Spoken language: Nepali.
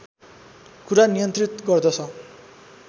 कुरा नियन्त्रित गर्दछ